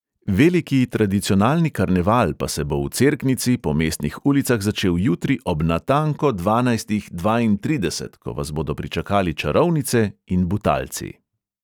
Veliki tradicionalni karneval pa se bo v cerknici po mestnih ulicah začel jutri ob natanko dvanajstih dvaintrideset, ko vas bodo pričakali čarovnice in butalci.